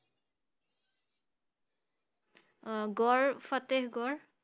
আহ গড় ফাটেহ গড়?